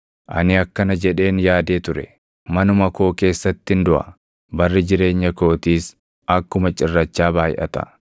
“Ani akkana jedheen yaadee ture; ‘Manuma koo keessattin duʼa; barri jireenya kootiis akkuma cirrachaa baayʼata.